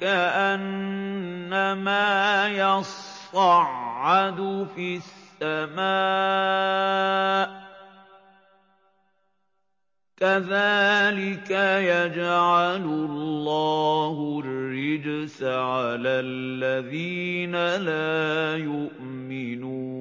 كَأَنَّمَا يَصَّعَّدُ فِي السَّمَاءِ ۚ كَذَٰلِكَ يَجْعَلُ اللَّهُ الرِّجْسَ عَلَى الَّذِينَ لَا يُؤْمِنُونَ